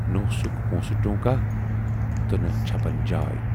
نہَ اوسُکھ پوٗنسہٕ ٹوٗنکاہ تہٕ نہَ چھَپن جاے۔